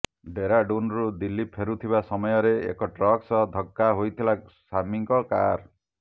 ଡେରାଡୁନରୁ ଦିଲ୍ଲୀ ଫେରୁଥିବା ସମୟରେ ଏକ ଟ୍ରକ ସହ ଧକ୍କା ହୋଇଥିଲା ସାମୀଙ୍କ କାର